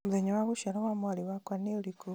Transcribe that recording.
mũthenya wa gũciarwo wa mwarĩ wakwa nĩ ũrĩkũ